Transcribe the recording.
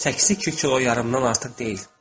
Çəkisi iki kilo yarımdan artıq deyil.